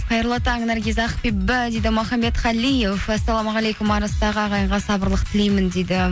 қайырлы таң наргиз ақбибі дейді мұхаммед қалиев ассалаумағалейкум арыстағы ағайынға сабырлық тілеймін дейді